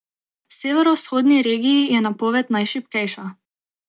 V severovzhodni regiji je napoved najšibkejša.